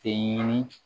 Tɛ ɲini